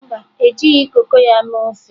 Mba, e jighị koko ya mee ofe.